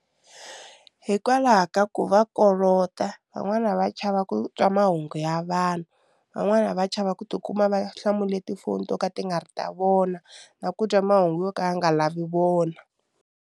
Hikwalaho ka ku va kolota van'wana va chava ku twa mahungu ya vanhu van'wana va chava ku tikuma va hlamula tifoni to ka ti nga ri ta vona na ku twa mahungu yo ka ya nga lavi vona.